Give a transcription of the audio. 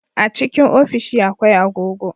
A cikin ofishi akwai agogo